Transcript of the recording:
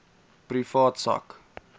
privaat sak